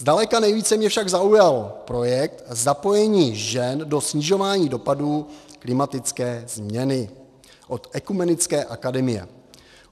Zdaleka nejvíce mě však zaujal projekt Zapojení žen do snižování dopadů klimatické změny od Ekumenické akademie.